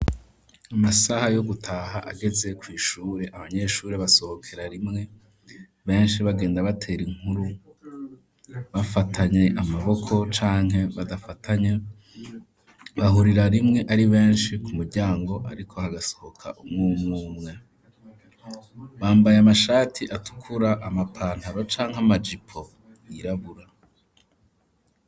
Amasaha yo gutaha ageze, kw'ishure abanyeshure basohokera rimwe, benshi bagenda batera inkuru, bafatanye amaboko canke badafatanye, bahurira rimwe ari benshi ku muryango, ariko hagasohoka umwe umwe, umwe umwe, bambaye amashati atukura, amapantaro canke amajipo yirabura.